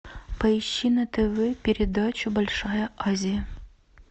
поищи на тв передачу большая азия